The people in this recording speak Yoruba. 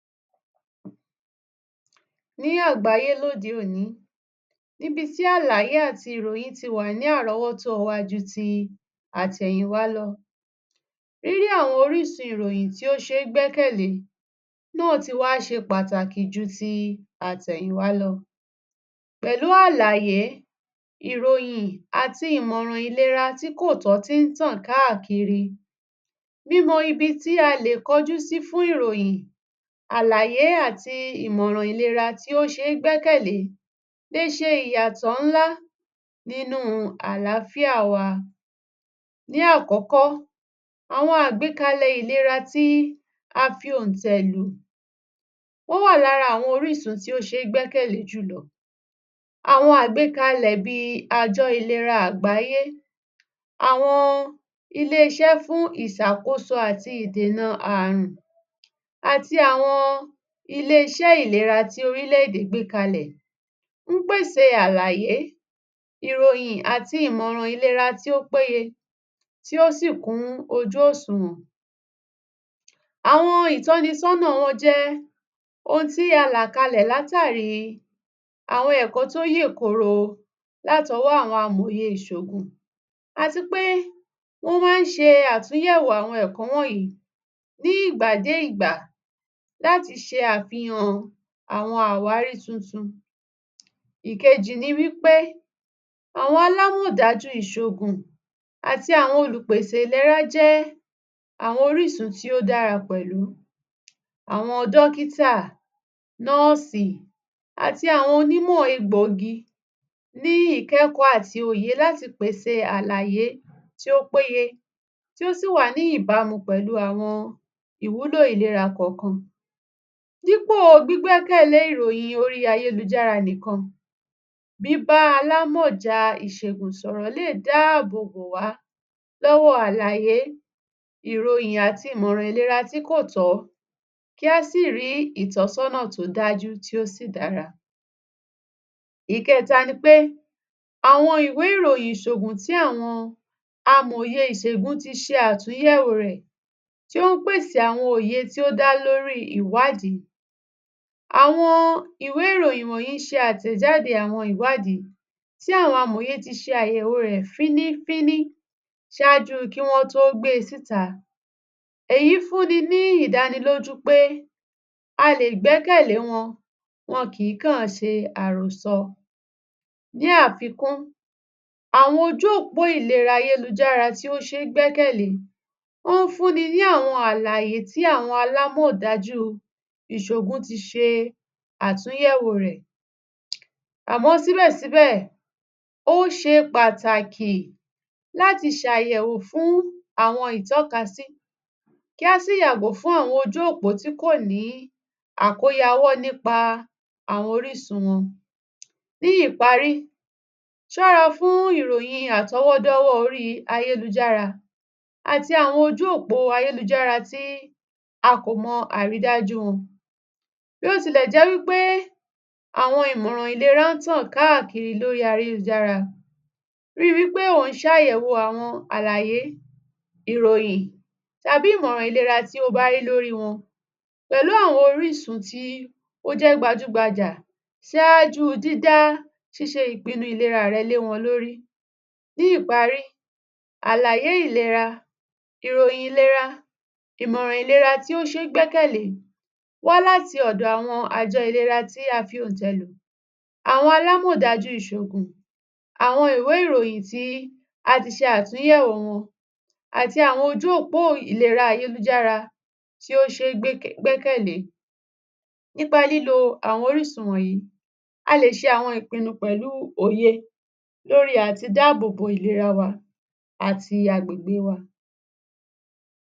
Ní àgbáyé lóde òní, níbi tí àlàyé àti ròyìn ti wà ní àrówọ́tó wa ju ti àtẹ̀yìnwa lọ. Rírí àwọn oríṣí ìròyìn tí ó ṣé gbẹ́kẹ̀lé náà ti wá ṣe pàtàkì ju ti atẹ̀yìnwa lọ. Pẹ̀lú àlàyé, ìròyìn àti ìmọ̀ràn ìlera tí kò tọ́ tí tàn káàkiri mímọ ibi tí a lè kọjú fún ìròyìn, àlàyé àti ìmọ̀ràn ìlera tí ó ṣé gbẹ́kẹ̀lé le ṣe ìyàtọ́ ńlá nínu àlàáfíà wa. Ní àkọ́kọ́, àwọn àgbékalẹ̀ ìlera tí a fi òntẹ̀ lù. Ó wà lára àwọn orísun tí ó sé gbẹ́kẹ̀lé jù lọ. Àwọn àgbékalẹ̀ bíi àjọ ìlera àgbáyé, àwọn ilé iṣẹ́ fún ìṣàkósó àti ìdẹ̀nà àrùn àti àwọn ilé iṣẹ́ ìlera tí orílẹ̀-èdè gbé kalẹ̀ ń pèsè àlàyé, ìròyìn àti ìmọ̀ràn ìlera tí ó péye, ti ó sí kún ojú òsùnwọ̀n. Àwọn ìtọ́nisọ́nà wọ́n jẹ́ ohun tí a là kalẹ̀ látàrí àwọn ẹ̀kọ́ tó yèkoro látí ọwọ́ amòye ìsògùn àti pé wọ́n má ń se àtúnyẹ̀wò àwọn ẹ̀kó wọ̀nyìí ní ìgbà dé ìgbà láti ṣe àfihàn àwọn àwárí tuntun. Ìkejì ni wípé, àwọn alámọ̀dájú ìṣògùn àti àwọn olùpèsè ìlera jẹ́ àwọn orísun tí ó dára pẹ̀lú. Awọn dọ́kítà, nọ́ọ̀sì àti àwọn onímọ̀ egbò igi ní ìkẹ́ẹ̀kọ́ àti òye láti pèsè àlàyé tí ó péye tí ó sì wà ní ìbámu pẹ̀lu àwọn ìwúlò ìlera kọ̀ọ̀kan. Dípo gbígbẹ̀kẹ̀lé ìròyìn orí ayélújára nìkan, bíbá alámọ̀já ìsègùn sọ̀rọ̀ lè dá àbò bò wá lọ́wọ́ àlàyé, ìròyìn àti ìmọ̀ràn ìlera tí kò tọ́, kí á sì rí ìtọ́sọ́nà tó dájú tí o sì dára. Ìkẹta ni pé, àwọn ìwé ìròyìn ìsògùn tí àwọn amòye ìsègùn ti ṣe àtúnyẹ̀wò rẹ̀ tí ó pèsè àwọn òyè tí ó dá lórí ìwádìí. Àwọn ìwé ìròyìn wọ̀nyìí ṣe àtẹ̀jáde àwọn ìwádìí tí àwọn amòye ti ṣe ayèwo rẹ̀ fínífíní sáájú kí wọ́n tó gbe síta. Èyí fún ní ní ìdánilójú pé a lè gbẹ́kẹ̀lé wọn, wọn kì kán ṣe àròsọ. Ní àfikún, àwọn ojú ópó ìlera ayélújára tí ó ṣe ń gbẹ́kẹ̀lé, ó ń fún ní ní àlàyé tí àwọn alámọ̀dájú ìsògùn ti ṣe àtúnyẹ̀wò rẹ̀. Àmọ́ síbẹ̀ síbẹ̀, ó ṣe pàtàkì láti ṣe àyẹ̀wò fún àwọn ìtọ́kasí, kí á sì yàgò fún àwọn ojú òpó tí kò ní àkóyawọ́ nípa àwọn orísun wọn. Ní ìparí, sọra fún ìròyìn àtọwọ́dọ́wọ́ orí ayélújára àtí àwọn ojú òpó ayélújára tí à kò mọ̀ àrídájú wọn. Bí ó tilẹ̀ jẹ́ wípé àwọn ìmọ̀ràn ìlera ń tàn káàkiri lórí ayélújára, rí wípé ò ń sàyẹ̀wò àwọn àlàyé, ìròyìn tàbí ìmọ̀ràn ìlera tí o bá rí lórí wọn pẹ̀lú àwọn orísun tí ó jẹ́ gbajúgbajà. Ní ìparí, àlàyé ìlera, ìròyìn ìlera, ìmọ̀ràn ìlera tí ó ṣe ń gbẹ́kẹ̀lé wá láti ọ̀dọ̀ àwọn àjọ ìlera tí a fi òntẹ̀ lò, àwọn alámọ̀dájú ìsògùn, àwọn ìwé ìròyìn tí ati ṣe àtúnyẹ̀wò wọn, àti àwọn ojú òpó ìlera ayélújára tí ó ṣe ń gbẹ́kẹ̀ gbẹ́kẹ̀lé ni. Nípa lílo àwọn orísun wọ̀nyìí, a lè ṣe àwọn ìpinu pẹ̀lú o[ye lórí àti dá àbò bo ìlera wa àti agbègbe wa.